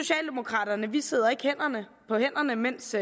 vi socialdemokrater sidder ikke på hænderne mens